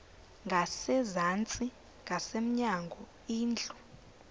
ngasezantsi ngasemnyango indlu